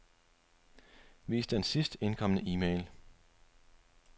Vis den sidst indkomne e-mail.